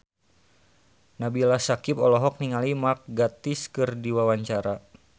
Nabila Syakieb olohok ningali Mark Gatiss keur diwawancara